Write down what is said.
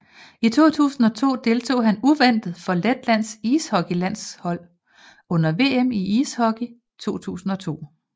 I 2002 deltog han uventet for Letlands ishockeylandshold under VM i ishockey 2002